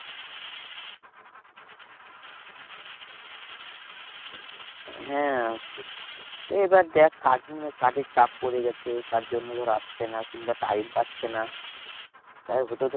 হ্যাঁ এইবার দেখ কাজ মনে হয় কাজের চাপ পরে গেছে তার জন্য ধর আসছে না কিংবা time পাচ্ছে না। হতেও তো